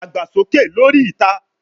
Dagba soke lori ita